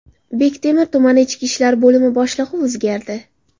Bektemir tumani ichki ishlar bo‘limi boshlig‘i o‘zgardi.